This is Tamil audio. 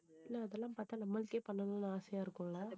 ஆனா அதெல்லாம் பாத்தா நம்மளுக்கே பண்ணணும்னு ஆசையா இருக்கும்ல